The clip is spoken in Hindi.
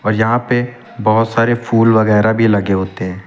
और यहां पे बहुत सारे फूल वगैरा भी लगे होते हैं।